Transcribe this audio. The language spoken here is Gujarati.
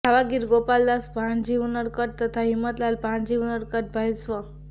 ધાવા ગીરઃ ગોપાલદાસ ભાણજી ઉનડકટ તથા હિમતલાલ ભાણજી ઉનડકટના ભાઇ સ્વ